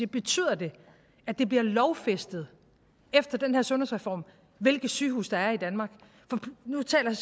betyder det at det bliver lovfæstet efter den her sundhedsreform hvilke sygehuse der er i danmark nu taler